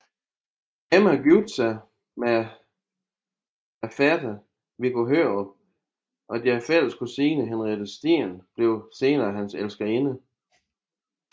Emma giftede sig med fætteren Viggo Hørup og deres fælles kusine Henriette Steen blev senere hans elskerinde